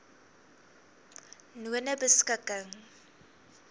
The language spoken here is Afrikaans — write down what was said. nonebeskikking